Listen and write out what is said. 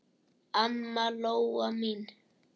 Amma Lóa mín.